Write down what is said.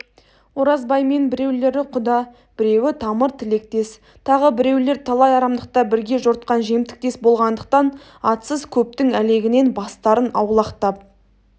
оразбаймен біреулері құда біреуі тамыр-тілектес тағы біреулер талай арамдықта бірге жортқан жемтіктес болғандықтан атсыз көптің әлегінен бастарын аулақтап